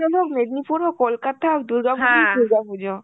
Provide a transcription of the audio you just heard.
হোক, মেদনীপুর হোক, কলকাতার দুর্গাপুজোই দুর্গাপুজো.